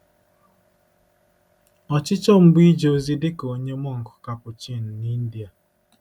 Ọchịchọ m bụ ije ozi dị ka onye mọnk Capuchin n’India.